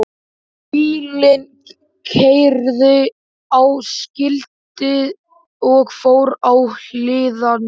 Bíllinn keyrði á skiltið og fór á hliðina!